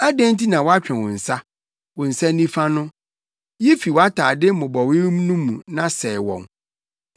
Adɛn nti na woatwe wo nsa, wo nsa nifa no? Yi fi wʼatade mmobɔwee no mu na sɛe wɔn.